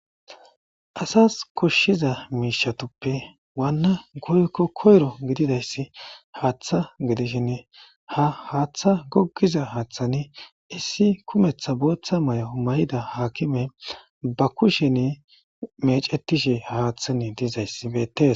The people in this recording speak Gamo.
Asas koshshiza miishatuppe waanna goykko koyro gididayssi haaththa gidishin ha haaththa goggiza haaththani issi kumetha booththa may'o may7ida haakime ba kusheni mecetishe haaththani dizayssi beettes.